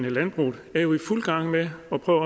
landbruget er jo i fuld gang med at prøve